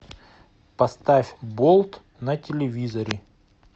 поставь болт на телевизоре